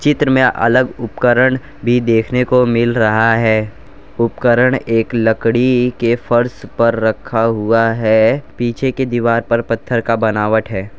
चित्र में अलग उपकरण भी देखने को मिल रहा है उपकरण एक लकड़ी के फर्श पर रखा हुआ है पीछे के दीवार पर पत्थर का बनावट है।